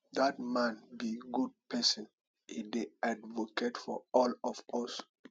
dat man be good person e dey advocate for all of us